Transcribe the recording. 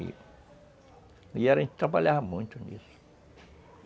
E a gente trabalhava muito nisso.